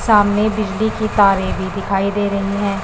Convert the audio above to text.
सामने बिजली की तारे भी दिखाई दे रही है।